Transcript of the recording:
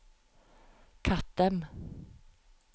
Kattem